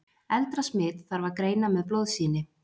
eldra smit þarf að greina með blóðsýni